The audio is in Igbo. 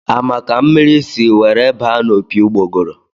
A ma ka mmiri si were baa n' opi ugbogoro?